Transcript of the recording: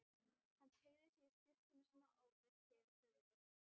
Hann teygði sig í skyrtuna sína og breiddi yfir höfuð.